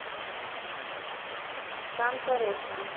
санта роса